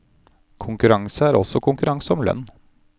Konkurranse er også konkurranse om lønn.